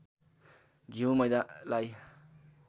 घिउ मैदालाई